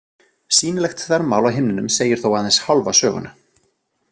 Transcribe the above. Sýnilegt þvermál á himninum segir þó aðeins hálfa söguna.